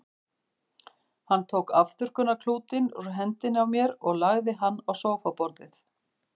Hann tók afþurrkunarklútinn úr hendinni á mér og lagði hann á sófaborðið.